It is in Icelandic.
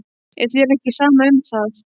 Er þér ekki sama um það?